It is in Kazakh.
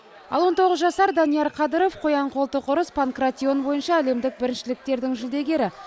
ал он тоғыз жасар данияр қадыров қоян қолтық ұрыс панкратион бойынша әлемдік біріншіліктердің жүлдегері